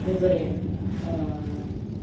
во дворе